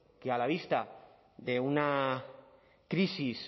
que a la vista de una crisis